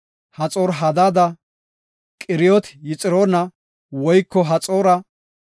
Haxoor-Hadaata, Qiriyot-Hexiroona woyko Haxoora,